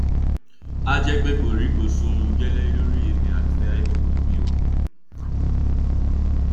a jẹ pé kòríkòsùn gẹlẹ lọrọ èmi àti iphone mi jẹ o